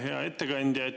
Hea ettekandja!